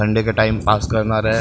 Sunday का time pass करना रहै।